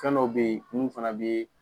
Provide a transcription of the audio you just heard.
Kan dɔw bɛ ye mun fana bɛ